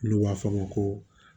N'u b'a fɔ a ma ko